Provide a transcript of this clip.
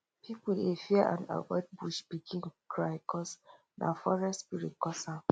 people dey fear and avoid bush pikin cry cuz nah forest spirit cus am